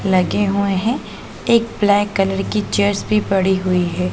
लगे हुए हैं। एक ब्लैक कलर की चेयर्स पड़ी हुई है।